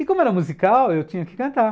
E como era musical, eu tinha que cantar.